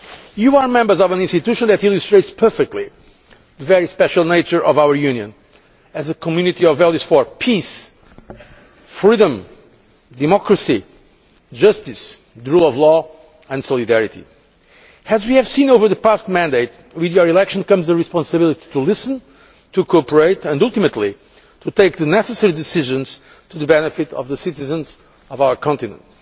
You are members of an institution that illustrates perfectly the very special nature of the European Union as a community of values for peace, democracy, tolerance, freedom, justice, the rule of law, and solidarity. As we have seen over the past mandate, with your election comes a responsibility to listen, to cooperate and ultimately to take the necessary decisions for the benefit of the citizens of our continent.